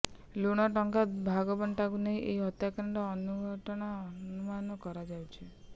ଲୁଟ ଟଙ୍କା ଭାଗବଣ୍ଟାକୁ ନେଇ ଏହି ହତ୍ୟାକାଣ୍ଡ ଘଟିଥିବା ଅନୁମାନ କରାଯାଉଛି